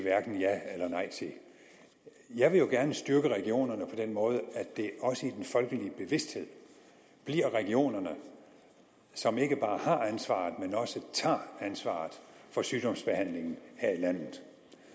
ja eller nej til jeg vil jo gerne styrke regionerne på den måde at det også i den folkelige bevidsthed bliver regionerne som ikke bare har ansvaret men også tager ansvaret for sygdomsbehandlingen her i landet